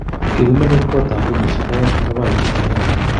Kigimenye kot ap Rumishek oeng ak papishek oeng.